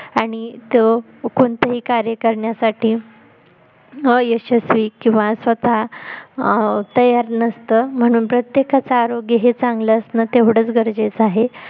आणि तो कोणतही कार्य करण्यासाठी यशश्वी किंवा स्वतः अं तयार नसतं म्हणून प्रत्येकाच आरोग्य हे चांगल असणं तेवढच गरजेचं आहे